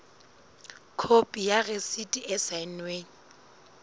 khopi ya rasiti e saennweng